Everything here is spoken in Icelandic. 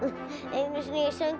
einu sinni söng